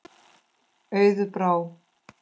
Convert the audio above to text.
Auður Brá.